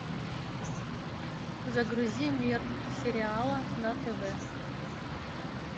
загрузи мир сериала на тв